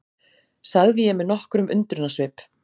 sagði ég með nokkrum undrunarsvip.